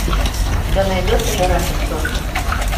у тебя найдется жирафик софи